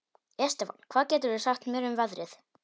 Estefan, hvað geturðu sagt mér um veðrið?